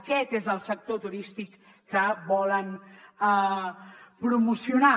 aquest és el sector turístic que volen promocionar